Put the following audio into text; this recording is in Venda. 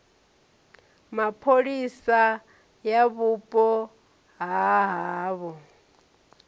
mapholisa ya vhupo ha havho